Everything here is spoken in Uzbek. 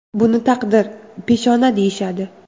Buni taqdir, peshona deyishadi.